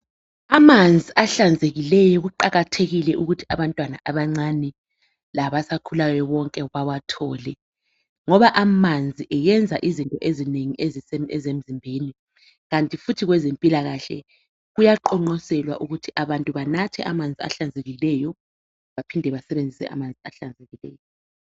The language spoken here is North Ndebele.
Amanzi ahlanzekileyo kuqakathekile ukuthi abantwana abancane labasakhulayo bonke bawathole ngoba amanzi ayenza izinto ezinengi emzimbeni, kanti futhi kwezempilakahle kuyaqongqoselwa ukuthi abantu banathe amanzi ahlanzekileyo baphinde basebenzise amanzi ahlanzekileyo.